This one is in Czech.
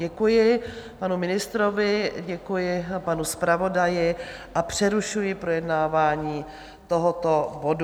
Děkuji panu ministrovi, děkuji panu zpravodaji a přerušuji projednávání tohoto bodu.